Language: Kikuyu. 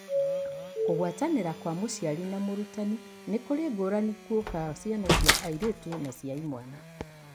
Kũgwatanĩra kwa mũciari na mũrutani nĩkũrĩ ngũrani guoka ciana cia airĩtu na cia imwana.